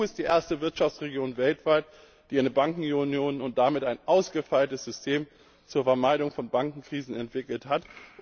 Die EU ist die erste Wirtschaftsregion weltweit, die eine Bankenunion und damit ein ausgefeiltes System zur Vermeidung von Bankenkrisen entwickelt hat.